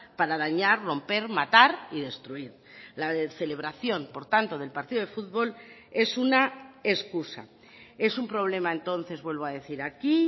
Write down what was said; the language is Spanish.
para dañar romper matar y destruir la celebración por tanto del partido de futbol es una excusa es un problema entonces vuelvo a decir aquí